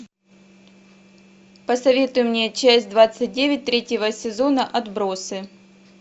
посоветуй мне часть двадцать девять третьего сезона отбросы